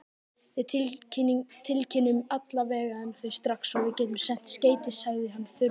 Við tilkynnum alla vega um þau strax og við getum sent skeyti, sagði hann þurrlega.